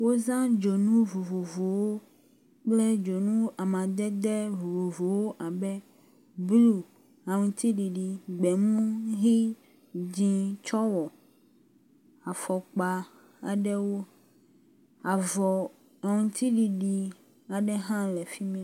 Wozã dzonu vovovowo kple dzonu amadede vovovowo abe blu, aŋtiɖiɖi, gbemu, ʋi, dzĩ tsɔ wɔ afɔkpa aɖewo. Avɔ aŋtiɖiɖi aɖe hã le afi mi.